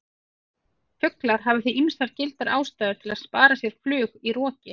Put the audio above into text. Fuglar hafa því ýmsar gildar ástæður til að spara sér flug í roki!